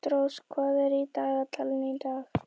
Ástrós, hvað er í dagatalinu í dag?